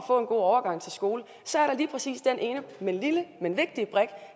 god overgang til skolen så er der lige præcis den ene lille men vigtige brik